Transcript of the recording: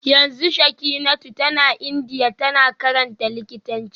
Yanzu Shekinatu tana Indiya tana karantar likitanci